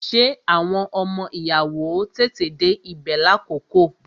Ṣé àwọn ọmọ ìyàwó ó tètè dé ibè lákòókò?